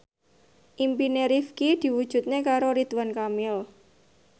impine Rifqi diwujudke karo Ridwan Kamil